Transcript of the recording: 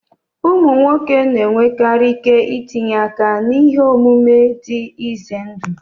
Ụmụ nwoke na-enwekarị ike itinye aka n'ihe omume dị ize ndụ.